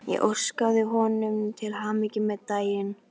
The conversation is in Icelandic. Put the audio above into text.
Ég óskaði honum til hamingju með daginn.